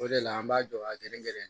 O de la an b'a jɔ a gɛrɛ gɛrɛ